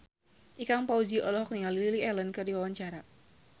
Ikang Fawzi olohok ningali Lily Allen keur diwawancara